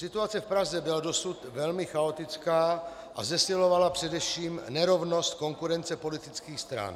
Situace v Praze byla dosud velmi chaotická a zesilovala především nerovnost konkurence politických stran.